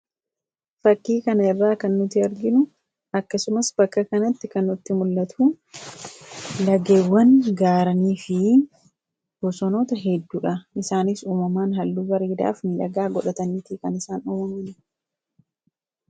Fakkii kana irraa kan nuti arginu akkasumas bakka kanatti kan nutti mul'atu lageewwan gaarreenii fi bosonota hedduudha. Isaanis uumamaan halluu bareedaaf midhagaa godhataniiti kan isaan uumaman.